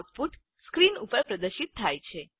output screen ઉપર પ્રદર્શિત થાય છે